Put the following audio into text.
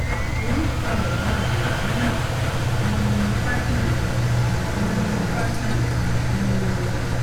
oríṣun àwòrán jacana partners partners